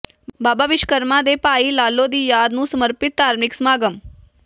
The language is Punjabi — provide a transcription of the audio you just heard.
ਬਾਬਾ ਵਿਸ਼ਵਕਰਮਾ ਤੇ ਭਾਈ ਲਾਲੋ ਦੀ ਯਾਦ ਨੂੰ ਸਮਰਪਿਤ ਧਾਰਮਿਕ ਸਮਾਗਮ